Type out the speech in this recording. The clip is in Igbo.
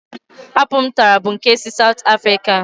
Apụl m tara bụ nke si Saụt Afrịka.